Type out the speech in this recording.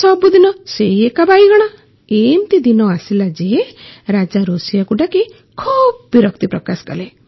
ସବୁଦିନ ସେଇ ଏକା ବାଇଗଣ ଏମିତି ଦିନ ଆସିଲା ଯେ ରାଜା ରୋଷେଇୟାକୁ ଡାକି ଖୁବ ବିରକ୍ତି ପ୍ରକାଶ କଲେ